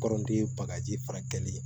Kɔrɔden ye bagaji fara kɛlen ye